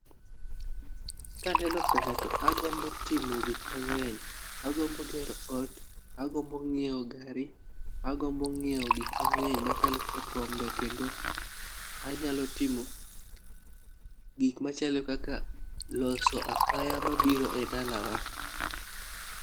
Kaneno pesa to agombo timo gik mang'eny. Agombo gero ot, agombo ng'iewo gari, agombo ng'iewo gik mang'eny machalo kaka kombe kendo anyalo timo gik machalo kaka loso apaya mabiro e dalawa.